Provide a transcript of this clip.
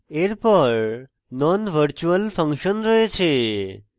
এরপর nonvirtual function রয়েছে